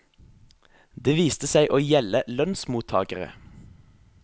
Det viste seg å gjelde lønnsmottagere.